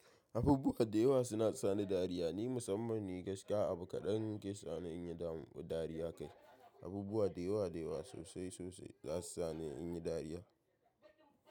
Abubuwa da yawa suna sani dariya. Ni musamman ni gaskiya abu kaɗan ke sani in yi dariya kai. Abubuwa da yawa da yawa sosai sosai za su sani in yi dariya.